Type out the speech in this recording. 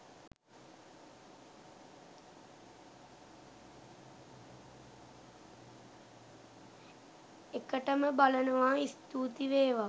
එකටම බලනවා ස්තුති වේවා